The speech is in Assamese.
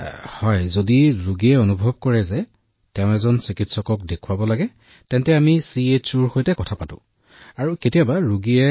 জী আমি এইটোও অনুভৱ কৰোঁ যে যদি ৰোগীয়ে অনুভৱ কৰে যে তেওঁ চিকিৎসকৰ ওচৰলৈ যাব লাগে তেনেহলে আমি যিবোৰ বস্তু চাব বিচাৰো আমি চিওএইচওৰ সৈতে কথা পাতি কেৱল ভিডিঅটোত আমি চাবলৈ কওঁ